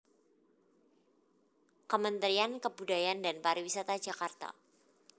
Kementrian Kebudayaan dan pariwisata Jakarta